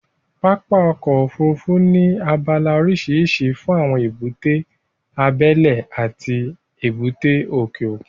Pápá ọkọ̀ Òfurufú ní abala oríṣiríṣi fún èbúté abẹ́lẹ́ àti èbúté òkè òkun